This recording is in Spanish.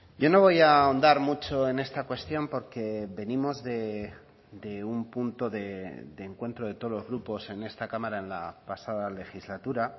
yo no voy a ahondar mucho en esta cuestión porque venimos de un punto de encuentro de todos los grupos en esta cámara en la pasada legislatura